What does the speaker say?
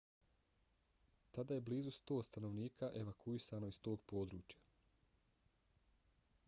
tada je blizu 100 stanovnika evakuisano iz tog područja